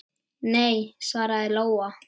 Nei, svaraði Lóa.